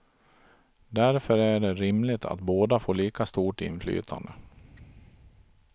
Därför är det rimligt att båda får lika stort inflytande.